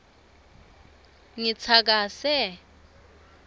ngitsakase